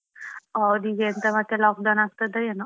ಹೌದು ಈಗೆಂತ ಮತ್ತೇ lockdown ಆಗ್ತದೆ ಏನೋ.